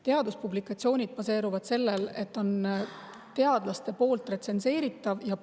Teaduspublikatsioonid baseeruvad sellel, et neid retsenseerivad teadlased.